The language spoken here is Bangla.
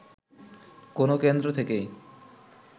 কোন কেন্দ্র থেকেই